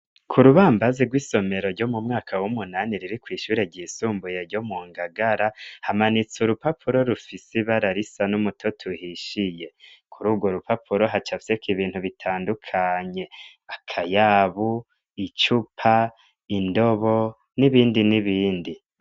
Ku rubambazi rwisomero ryo mu mwaka w'umunani riri kwishure ry'isumbuye ryo mu Ngagara hamanitse urupapuro rufise ibara risa n'umutoto uhishiye kururwo rupapuro hacafyeko ibintu bitandukanye akayabu, icupa, indobo n'ibindi n'ibindi.